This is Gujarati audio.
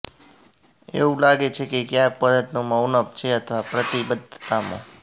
એવું લાગે છે કે ક્યાંક પ્રયત્નોમાં ઉણપ છે અથવા પ્રતિબદ્ધતામાં